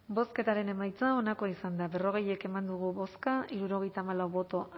bozketaren emaitza onako izan da berrogei eman dugu bozka hirurogeita hamalau boto